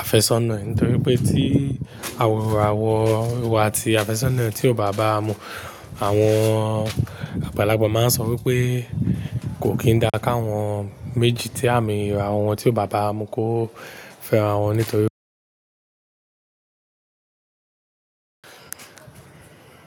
àfẹ́sọ́nà. Nítorí pé tí àwọ̀ ìràwọ̀ iwo àti àfẹ́sọ́nà tí ò bá bára mu, àwọn àgbàlagbà máa ń sọ wípé kò kín dá káwọn méjì tí àmì ìràwọ̀ wọn tí ò bá bá mu kó fẹ́ ara wọn nítorí.